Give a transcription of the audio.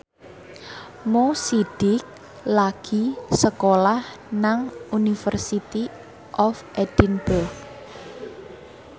Mo Sidik lagi sekolah nang University of Edinburgh